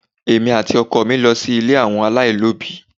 Èmi àti ọkọ mi lọ sí ilé àwọn alailobi.